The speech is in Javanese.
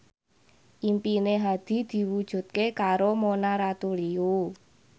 impine Hadi diwujudke karo Mona Ratuliu